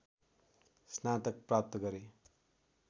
स्नातक प्राप्त गरे